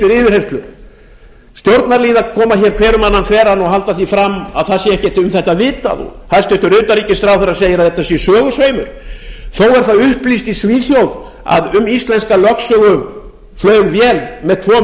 yfirheyrslur stjórnarliðar koma hér hver um annan þveran og halda því fram að ekkert sé um þetta vitað og hæstvirtur utanríkisráðherra segir að þetta sé sögusveimur þó er upplýst í svíþjóð að um íslenska lögsögu flaug vél með tvo